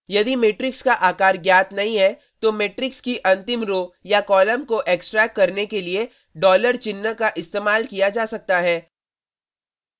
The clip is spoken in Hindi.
यदि मेट्रिक्स का आकार ज्ञात नहीं है तो मेट्रिक्स की अंतिम रो row या कॉलम को एक्सट्रैक्ट करने के लिए $ डॉलर चिन्ह का इस्तेमाल किया जा सकता है